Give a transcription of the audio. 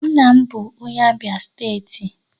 Nna m bụ onye Abia steeti